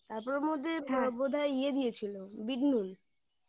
তারপর ওর মধ্যে বোধহয় ইয়ে দিয়েছিল বিট নুন হ্যাঁ